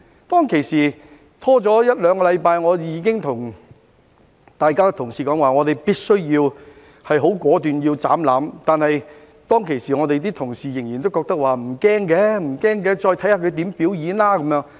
當時，拖了一兩個星期，我已經跟各位同事說，我們必須果斷"斬纜"，但當時我們的同事仍然認為不用擔心，再看他如何表演。